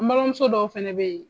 N balimamuso dɔw fana bɛ yen